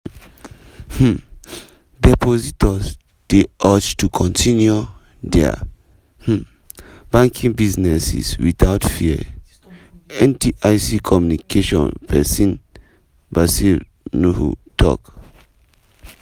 um "depositors dey urged to kontinu dia um banking businesses without fear" ndic communication pesin bashir nuhu tok.